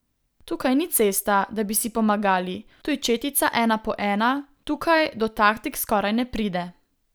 Tukaj ni cesta, da bi si pomagali, tu je četica ena po ena, tukaj do taktik skoraj ne pride.